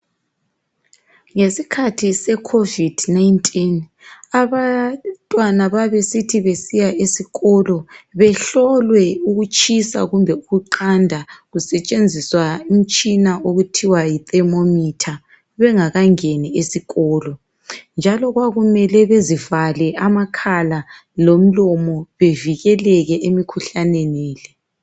Ngesikhathi seCovid -19, abantwana babesithi besiya eskolo behlolwe ukutshisa kumbe ukuqanda kusetshenziswa umtshina okuthiwa yithermometer bengakangeni esikolo. Njalo kwakumele bazivale amakhala lomlomo bevikeleke emkhuhlaneni lo.